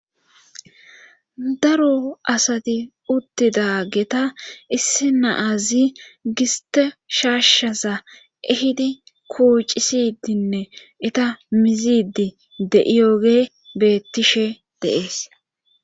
daro asati uttidageta issi naazi giste shaashshaza ehidi kuucisidinne eta mizidi de7iyoge beettishe de'ees